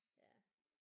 Ja